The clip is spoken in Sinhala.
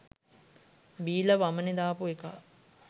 බීලා වමනේ දාපු එකා